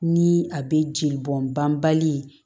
Ni a bɛ jeli bɔn banbali ye